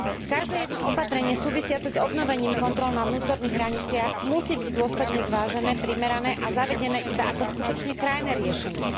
Každé jedno opatrenie súvisiace s obnovením kontrol na vnútorných hraniciach musí byť dôsledne zvážené, primerané a zavedené iba ako skutočne krajné riešenie.